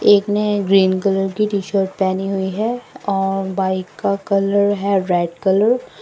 एक ने green colour की टी शर्ट पहनी हुई है और बाइक का कलर है रेड कलर ।